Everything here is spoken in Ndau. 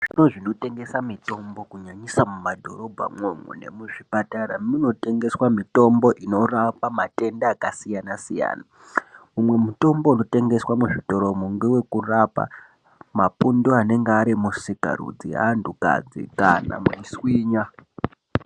Zvitoro zvinotengese mitombo kunyanyisa mumadhorobhamwo umwomwo nemuzvipatara munotengeswa mitombo inorapa matenda akasiyana siyana. Umwe mutombo unotengeswa muzvitoromo ngewekurapa mapundu anenge ari musikarudzi yeantukadzi kana meiswinya.